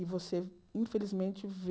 E você, infelizmente, vê...